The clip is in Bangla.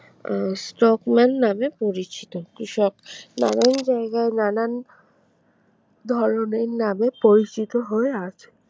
আহ স্টকম্যান নামে পরিচিত কৃষক নানান জায়গায় নানান ধরনের নামে পরিচিত হয়ে আছে